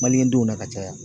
Mliyɛdenw na ka caya